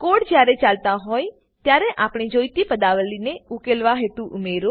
code જયારે ચાલતો હોય ત્યારે આપણે જોઈતી પદાવલી ને ઉકેલવા હેતુ ઉમેરો